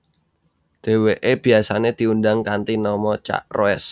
Dheweke biasane diundang kanthi nama Cak Roes